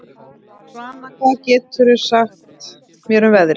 Svana, hvað geturðu sagt mér um veðrið?